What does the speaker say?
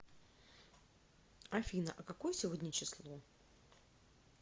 афина а какое сегодня число